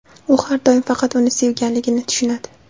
U har doim faqat uni sevganligini tushunadi.